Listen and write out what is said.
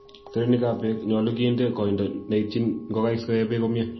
terenikab beek; nyolu kinde koindo neityin ngokaik sikoee beek komie.